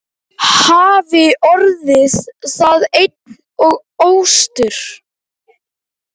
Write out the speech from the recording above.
Hafi orðið það ein og óstudd.